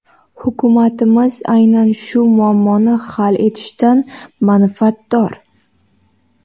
Hukumatimiz aynan shu muammoni hal etishdan manfaatdor.